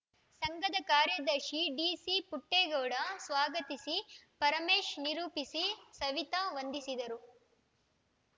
ಸಂಘದ ಕಾರ್ಯದರ್ಶಿ ಡಿಸಿ ಪುಟ್ಟೇಗೌಡ ಸ್ವಾಗತಿಸಿ ಪರಮೇಶ್‌ ನಿರೂಪಿಸಿ ಸವಿತ ವಂದಿಸಿದರು